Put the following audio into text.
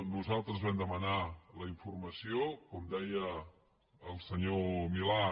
nosaltres vam demanar la informació com deia el senyor milà